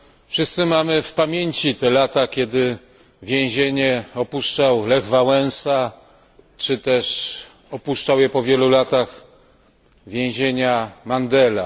Wszyscy mamy w pamięci te lata, kiedy więzienie opuszczał Lech Wałęsa czy też opuszczał je po wielu latach Mandela.